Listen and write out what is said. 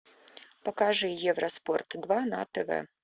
покажи евроспорт два на тв